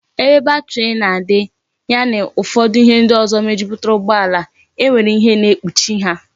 Ebe bateri na adi, ya na ihe ufodu ndi ozo mejuputara ugbo ala, e nwere ihe na ekpuchi ha